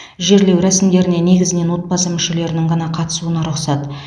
жерлеу рәсімдеріне негізінен отбасы мүшелерінің ғана қатысуына рұқсат